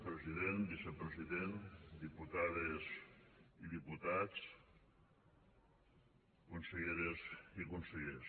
president vicepresident diputades i diputats conselleres i consellers